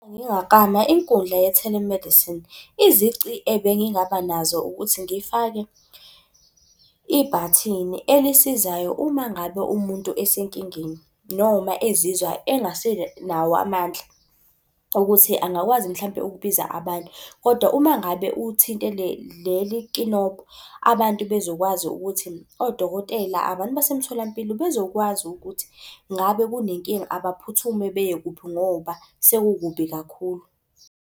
Ngingaklama inkundla ye-telemedicine, izici ebengingaba nazo ukuthi ngifake ibhathini elisizayo uma ngabe umuntu esenkingeni, noma ezizwa engasenawo amandla okuthi angakwazi yini mhlampe ukubiza abantu. Kodwa uma ngabe uthinte leli nkinobho, abantu bezokwazi ukuthi odokotela, abantu basemtholampilo bezokwazi ukuthi ngabe kunenkinga abaphuthume beye kuphi ngoba sekukubi kakhulu.